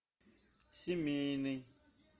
семейный